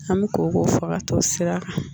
An me ko ko fa ka t'o sira kan